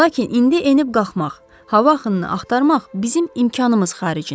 Lakin indi enib-qalxmaq, hava axınını axtarmaq bizim imkanımız xaricindədir.